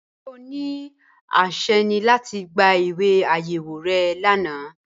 Ṣẹ̀ ọ ní ànṣẹ́ni láti gbá ìwé ayéwò rẹ lána?